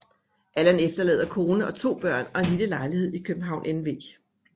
Allan efterlader kone og 2 børn og en lille lejlighed i København NV